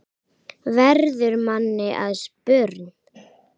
verður manni að spurn.